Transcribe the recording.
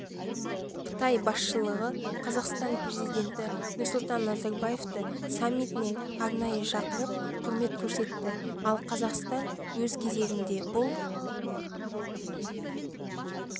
қытай басшылығы қазақстан президенті нұрсұлтан назарбаевты саммитіне арнайы шақырып құрмет көрсетті ал қазақстан өз кезегінде бұл